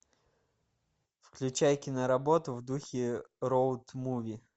включай киноработу в духе роуд муви